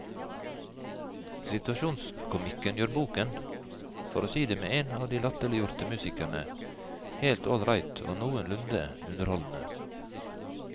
Situasjonskomikken gjør boken, for å si det med en av de latterliggjorte musikerne, helt ålreit og noenlunde underholdende.